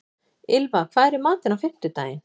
Ylfa, hvað er í matinn á fimmtudaginn?